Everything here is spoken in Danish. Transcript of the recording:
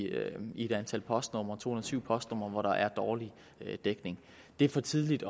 et antal postnumre to hundrede og syv postnumre hvor der er dårlig dækning det er for tidligt